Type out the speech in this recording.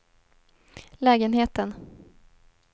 lägenheten